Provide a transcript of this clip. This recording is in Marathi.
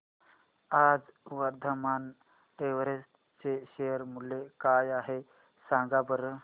आज वर्धमान टेक्स्ट चे शेअर मूल्य काय आहे सांगा बरं